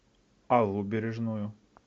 аллу бережную